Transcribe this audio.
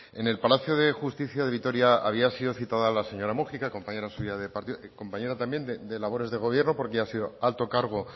en el palacio de justicia de vitoria había sido citada la señora múgica compañera suya de partido compañera también de labores de gobierno porque ha sido alto cargo